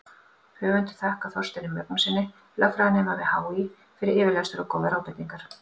Höfundur þakkar Þorsteini Magnússyni, lögfræðinema við HÍ, fyrir yfirlestur og góðar ábendingar.